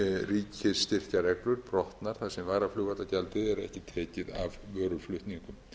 ríkisstyrkjareglur brotnar þar sem varaflugvallagjaldið er ekki tekið af vöruflutningum